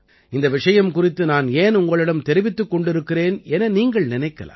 இந்த விஷயம் குறித்து நான் ஏன் உங்களிடம் தெரிவித்துக் கொண்டிருக்கிறேன் என நீங்கள் நினைக்கலாம்